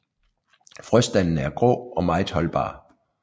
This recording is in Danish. Frøstandene er grå og meget holdbare